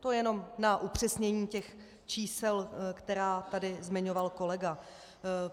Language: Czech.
To jenom na upřesnění těch čísel, která tady zmiňoval kolega.